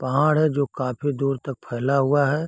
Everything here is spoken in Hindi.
पहाड़ है जो काफी दूर तक फैला हुआ है।